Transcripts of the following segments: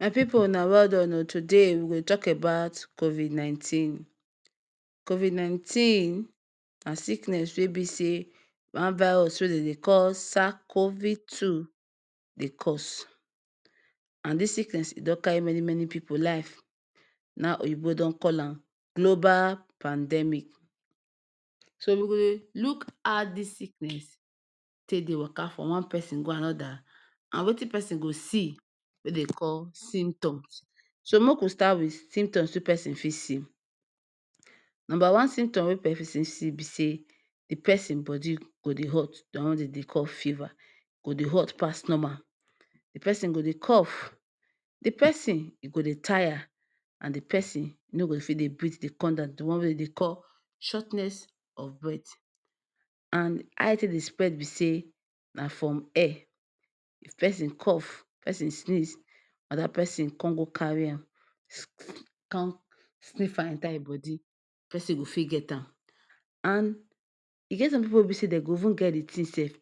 My pipu una well don oo today we go talk abat Covid nineteen, COVID nineteen na sickness wey be say? wan virus wey dem Dey call sacovi2 Dey cos and this siknes e don carry meni meni pipu life na in oyibo de call an globa pandemi, so?we go Dey look ha this sickness, take Dey waka from wan person go anoda? And Wetin persin go see wey Dey call symptoms so make we start symptom persin got see, number wan symptom be say the persin bodi go Dey hot, the wan wey dem Dey call fever ,go Dey hot pass normal,d persin go Dey cough, the person go Dey tire ,and d person no go fit Dey Brit con Dan, the wan wey dem Dey shortness of breath and ha e take dey spread be say na from air if person cough, if person sniz, anoda person con go carry an,????con snif an enta in body persin go fit get an e d pipu wen e be say if dem even get the tin sef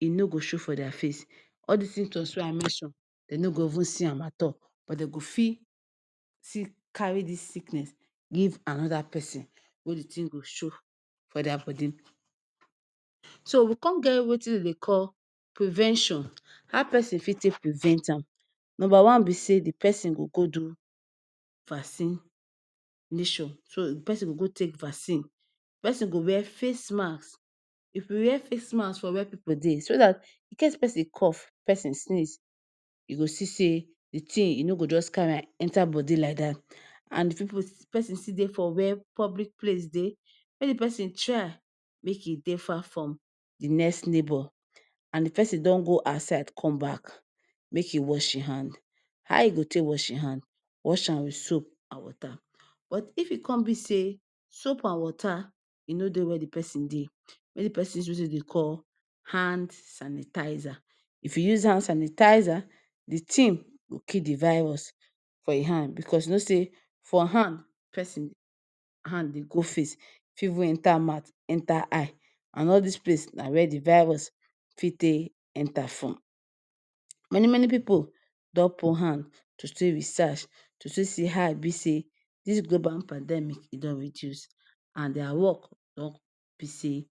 e no go show for their face, all this symptoms wey I mention dem no go even see an at all but dem go Fi ?,still carry this sicknes give anoda persin, wen d thing go show for their bodi?,so we con get Wetin dem Dey call prevention, ha persin Fi take prevent am, number wan be say the person go go do vacin test mission so the person go go take vacin, the person go wear face mas, if w wear face mas for wer pipu Dey, so that in case persin cough person sniz e go see say the thing e no go just carry an enta bodi lie that and if pipu person still Dey for wer public place Dey make the person try make e Dey far from the next neybo, and d person don go asyde, con back make e wash in hand, ha e go take wash in hand, wash an with soap and water but if e con be say soap and water e no Dey wer the person Dey make d person use Wetin dem Dey call hand sanitiza, if e use hand sanitiza? The thing go ki the virus, for in hand because you know say for hand person hand Dey go face, e Fi even enta Mat enta eye, and all this place na wer the virus fit Dey enta from, many many pipu don put hand to still research to still see ha e be say this globa pandemic e don reduce and their wok don be say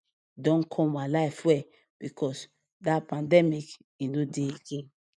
don come alive well because that pandemic e no Dey again